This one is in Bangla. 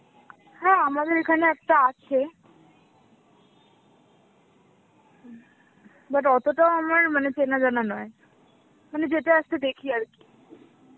হ্যাঁ আমাদের এখানে একটা আছে, but অতটাও আমার মানে চেনাজানা নয়, মানে যেতে আসতে দেখি আর কি.